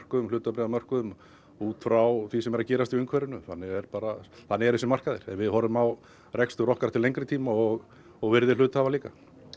hlutabréfamörkuðum út frá því sem er að gerast í umhverfinu þannig eru bara bara þessir markaðir en við horfum á rekstur okkar til lengri tíma og og virði hluthafa líka